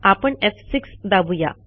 आपण एफ6 दाबू या